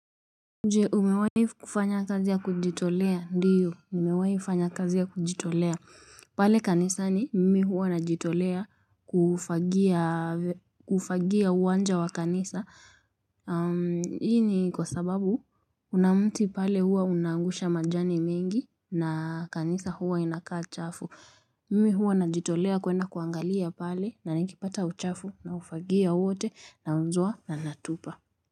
Je umewai kufanya kazi ya kujitolea ndiyo nimewai fanya kazi ya kujitolea. Pale kanisa ni mimi huwa najitolea kufagia uwanja wa kanisa. Hii ni kwa sababu kuna mti pale huwa unaangusha majani mingi na kanisa huwa inakaa chafu. Mimi huwa najitolea kwenda kuangalia pale na nikipata uchafu naufagia wote nauzwa na natupa.